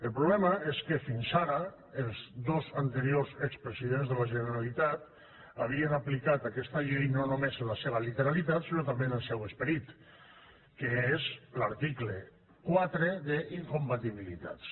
el problema és que fins ara els dos anteriors expresidents de la generalitat havien aplicat aquesta llei no només en la seva literalitat sinó també en el seu esperit que és l’article quatre d’incompatibilitats